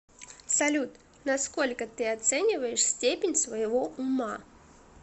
салют насколько ты оцениваешь степень своего ума